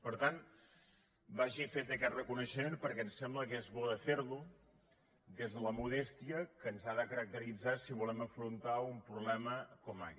per tant vagi fet aquest reconeixement perquè ens sembla que és bo de fer lo des de la modèstia que ens ha de caracteritzar si volem afrontar un problema com aquest